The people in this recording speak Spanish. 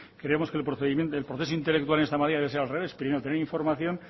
creemos que el proceso intelectual en esta materia debe de ser al revés primero tener información